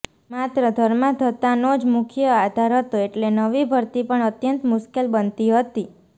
માત્ર ધર્માંધતાનો જ મુખ્ય આધાર હતો એટલે નવી ભરતી પણ અત્યંત મુશ્કેલ બનતી હતી